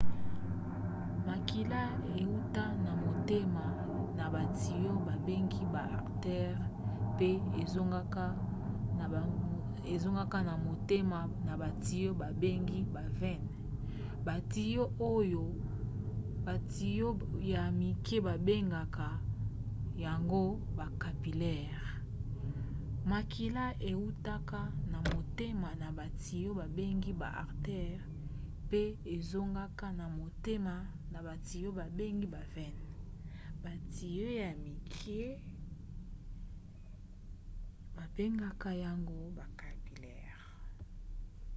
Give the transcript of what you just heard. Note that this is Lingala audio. makila eutaka na motema na batiyo babengi ba artères pe ezongaka na motema na batiyo babengi ba veines. batiyo ya mike babengaka yango ba capillaires